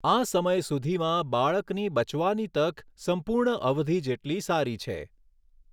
આ સમય સુધીમાં, બાળકની બચવાની તક સંપૂર્ણ અવધિ જેટલી સારી છે.